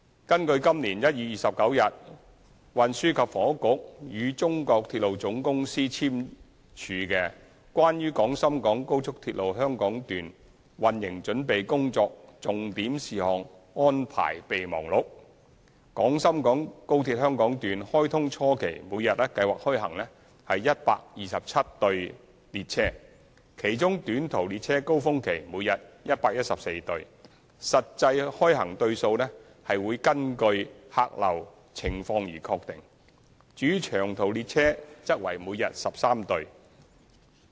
根據今年1月29日運輸及房屋局與中國鐵路總公司簽署的《關於廣深港高速鐵路香港段運營準備工作重點事項安排備忘錄》，廣深港高鐵香港段開通初期每日計劃開行127對列車，其中短途列車高峰期每天114對，實際開行對數根據客流情況確定；至於長途列車則為每日13對。